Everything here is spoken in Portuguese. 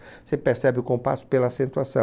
Você percebe o compasso pela acentuação.